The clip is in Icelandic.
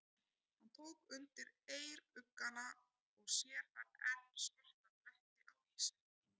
Hann tók undir eyruggana og sér þar enn svarta bletti á ýsunni.